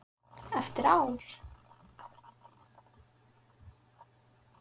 Eftir ár?